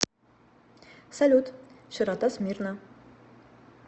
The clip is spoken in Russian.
салют широта смирна